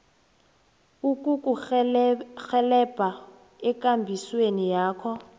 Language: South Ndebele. ukukurhelebha ekambisweni yakho